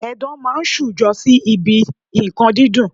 Edan máa ń ṣujọ sí ibi nǹkan dídùn.